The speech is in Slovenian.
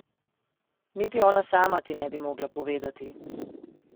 Niti ona sama ti ne bi mogla povedati.